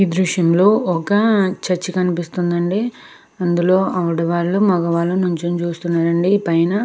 ఈ దృశ్యంలో ఒక చర్చ్ కనిపిస్తుందండి. అందులో ఆడవాళ్లు మగవాళ్ళు నిల్చోని చూస్తున్నారండి. పైన --